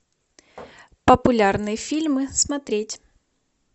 популярные фильмы смотреть